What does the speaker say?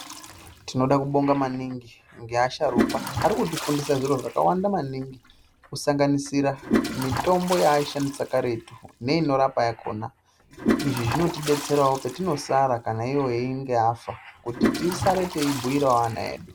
Timoda kuabonga maningi ngeasharuka Arikuti fundisa zviro zvakawanda maningi kisanganisira mitombo yaaishandisa karetu neni rapa yakona izvi zvinotodetserawo patinosara iwo einge afa kuti tisarewo teibhuira ana edu.